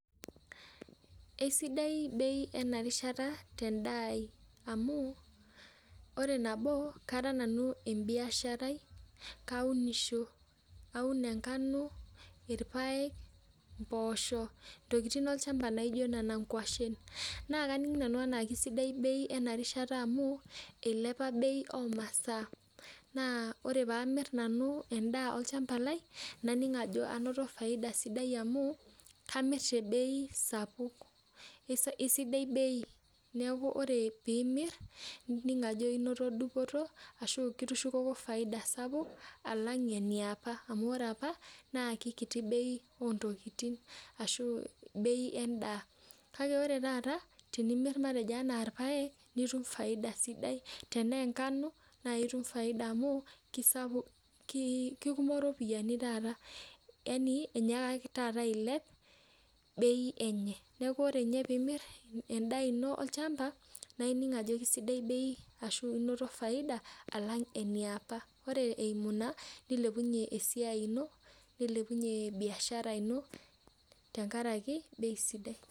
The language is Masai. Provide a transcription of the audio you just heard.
Esidai bei enarishata tendaa ai amu, ore nabo kara nanu ebiasharai. Kaunisho. Kaun enkano, irpaek, mpoosho, ntokiting olchamba naijo nena nkwashen. Naa kaning' nanu enaa kasidai bei enarishata amu, ilepa bei omasaa. Naa ore pamir nanu endaa olchamba lai, naning' anoto faida sidai amu, kamir tebei sapuk. Isidai bei. Neeku ore pimir, nining' ajo inoto dupoto, ashu kitushukoko faida sapuk, alang' eniapa. Amu ore apa, naa kikiti bei ontokiting. Ashu bei endaa. Kake ore taata tenimir matejo enaa irpaek, nitum faida sidai. Tenaa enkano, na itum faida amu kisapuk kikumok ropiyiani taata. Yani enyaaka taata ailep bei enye. Neeku ore nye pimir endaa ino olchamba, naa ining' ajo kisidai bei, ashu inoto faida alang' eniapa. Ore eimu ina, nilepunye esiai ino, nilepunye biashara ino, tenkaraki bei sidai.